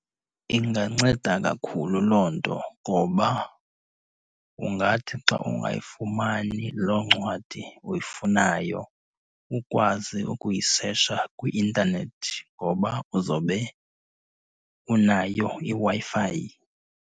Inganceda kakhulu loo nto ngoba ungathi xa ungayifumani loo ncwadi uyifunayo, ukwazi ukuyisetsha kwi-intanethi ngoba uzobe unayo iWi-Fi.